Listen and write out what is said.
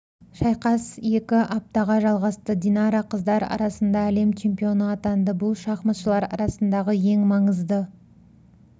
шайқас екі аптаға жалғасты динара қыздар арасында әлем чемпионы атанды бұл шахматшылар арасындағы ең маңызды